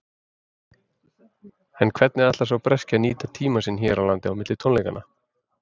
En hvernig ætlar sá breski að nýta tímann sinn hér á landi á milli tónleikanna?